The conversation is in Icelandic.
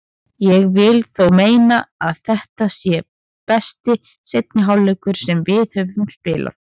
Ég vil þó meina að þetta sé besti seinni hálfleikur sem við höfum spilað.